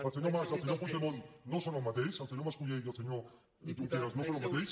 el senyor mas i el senyor puigdemont no són el mateix el senyor mascolell i el senyor junqueras no són el mateix